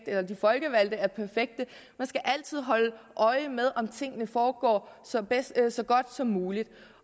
eller at de folkevalgte er perfekte man skal altid holde øje med om tingene foregår så så godt som muligt